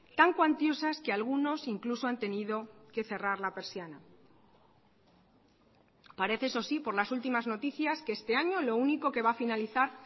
tan cuantiosas que algunos incluso han tenido que cerrar la persiana parece eso si por las últimas noticias que este año lo único que va a finalizar